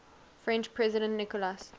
french president nicolas